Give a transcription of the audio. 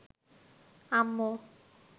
আম্মু